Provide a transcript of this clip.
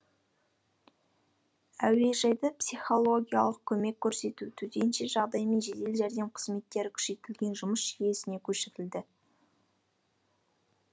әуежайда психологиялық көмек көрсету төтенше жағдай мен жедел жәрдем қызметтері күшейтілген жұмыс жүйесіне көшірілді